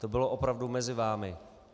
To bylo opravdu mezi vámi.